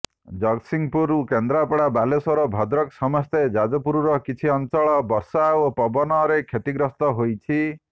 ଜଗତସିଂହପୁର କେନ୍ଦ୍ରାପଡ଼ା ବାଲେଶ୍ବର ଭଦ୍ରକ ସମେତ ଯାଜପୁରର କିଛି ଅଞ୍ଚଳ ବର୍ଷା ଓ ପବନରେ କ୍ଷତିଗ୍ରସ୍ତ ହୋଇଛି